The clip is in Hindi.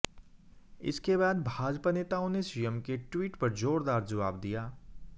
इसके बाद भाजपा नेताओं ने सीएम के ट्वीट पर जोरदार जवाब दिया